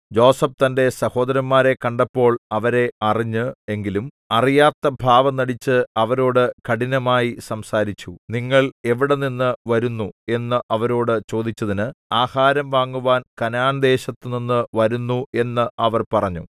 യോസേഫ് തന്റെ സഹോദരന്മാരെ കണ്ടപ്പോൾ അവരെ അറിഞ്ഞ് എങ്കിലും അറിയാത്ത ഭാവം നടിച്ച് അവരോടു കഠിനമായി സംസാരിച്ചു നിങ്ങൾ എവിടെനിന്ന് വരുന്നു എന്ന് അവരോടു ചോദിച്ചതിന് ആഹാരം വാങ്ങുവാൻ കനാൻദേശത്തുനിന്നു വരുന്നു എന്ന് അവർ പറഞ്ഞു